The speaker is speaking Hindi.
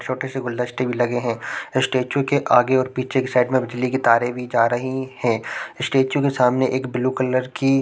छोटे से गुलदस्तें भी लगे है स्टेचू के आगे और पीछे की साइड में बिजली की तारे भी जा रही है स्टेचू के सामने एक ब्लू कलर की --